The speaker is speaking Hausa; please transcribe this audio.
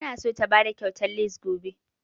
Ta na so ta bada kyautan lace gobe